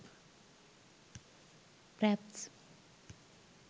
fraps